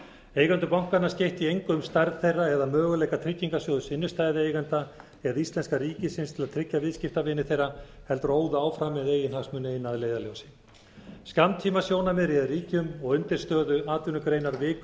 eigendur bankanna skeyttu í engu um stærð þeirra eða möguleika tryggingarsjóðs innstæðueigenda eða íslenska ríkisins til að tryggja viðskiptavini þeirra heldur óðu áfram með eigin hagsmuni eina að leiðarljósi skammtímasjónarmið réð ríkjum og undirstöðuatvinnugreinar viku í